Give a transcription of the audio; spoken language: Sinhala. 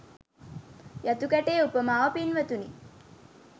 යතු කැටයේ උපමාව පින්වතුනි